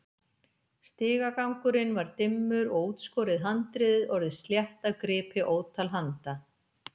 Stigagangurinn var dimmur og útskorið handriðið orðið slétt af gripi ótal handa.